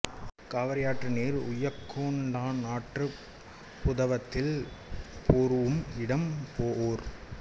காவிரியாற்று நீர் உய்யக்கொண்டான் ஆற்றுப் புதவத்தில் பொரூஉம் இடம் போஒர்